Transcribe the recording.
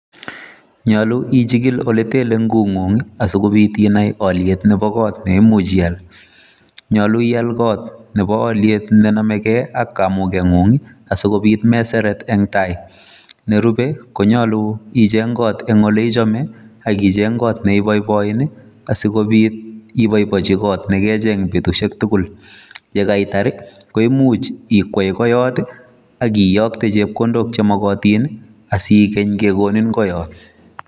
Nyolu ichigil ole ten lengut neng'ung asikobiit inai kot neimuch ial. Nyolu ial kot nebo olyet nenomege ak olyeng'ung asikobit meseret en tai. Nerube konyolu icheng kot en ole ichome ak icheng kot ne iboiboin asikobit iboiboechi kot negecheng betushek tugul. Ye kaitar ii, koimuch ikwai koioto ak iyokte chepkondok chemogotin asiigeny kegonin koyoto.